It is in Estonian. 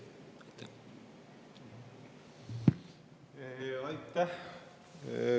Aitäh!